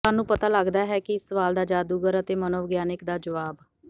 ਸਾਨੂੰ ਪਤਾ ਲੱਗਦਾ ਹੈ ਕਿ ਇਸ ਸਵਾਲ ਦਾ ਜਾਦੂਗਰ ਅਤੇ ਮਨੋਵਿਗਿਆਨਿਕ ਦਾ ਜਵਾਬ